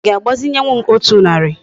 Í ga agbazinyewu m otu nari?